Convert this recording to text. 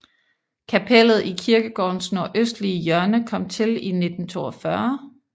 Kapellet i kirkegårdens nordøstlige hjørne kom til i 1942